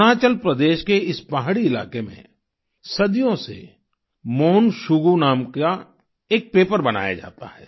अरुणाचल प्रदेश के इस पहाड़ी इलाके में सदियों से मोन शुगु नाम का एक पेपर बनाया जाता है